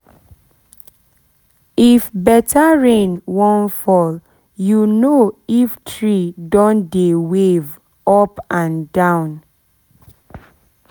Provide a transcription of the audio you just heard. if better rain wan fall you know if tree don dey wave up and down